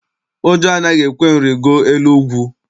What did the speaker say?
Ụjọ anaghị ekwe m rigoo elu ugwu.